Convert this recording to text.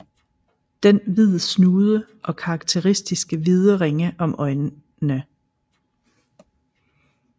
Den hvid snude og karakteristiske hvide ringe omkring øjnene